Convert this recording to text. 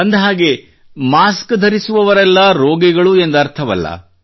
ಅಂದಹಾಗೆ ಮಾಸ್ಕ್ ಧರಿಸುವವರೆಲ್ಲಾ ರೋಗಿಗಳು ಎಂದರ್ಥವಲ್ಲ